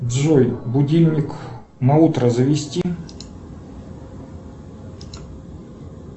джой будильник на утро завести